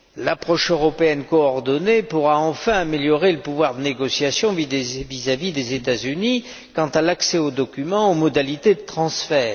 L'approche européenne coordonnée pourra enfin améliorer le pouvoir de négociation vis à vis des États Unis quant à l'accès aux documents et quant aux modalités de transfert.